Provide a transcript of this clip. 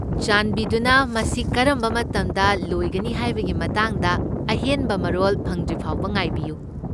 ꯆꯥꯟꯕꯤꯗꯨꯅ ꯃꯁꯤ ꯀꯔꯝꯕ ꯃꯇꯝꯗ ꯂꯣꯏꯒꯅꯤ ꯍꯥꯏꯕꯒꯤ ꯃꯇꯥꯡꯗ ꯑꯍꯦꯟꯕ ꯃꯔꯣꯜ ꯐꯪꯗ꯭ꯔꯤꯐꯥꯎꯕ ꯉꯥꯏꯕꯤꯌꯨ꯫